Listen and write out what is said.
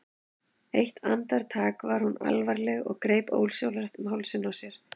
Eitt andartak var hún alvarleg og greip ósjálfrátt um hálsinn á sér.